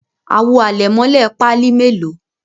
Àwo àlẹ̀mọ́lẹ̀ Pali melo?